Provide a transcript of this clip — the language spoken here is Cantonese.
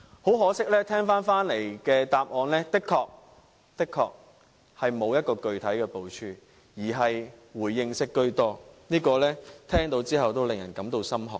很可惜，我聽回來的答案確實是沒有具體部署，而是回應式居多，聽到也使人感到心寒。